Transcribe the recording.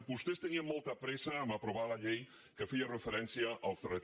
vostès tenien mol·ta pressa a aprovar la llei que feia referència al crt